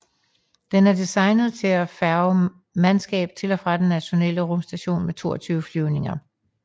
Den er designet til at færge mandskab til og fra den Internationale Rumstation med 22 flyvninger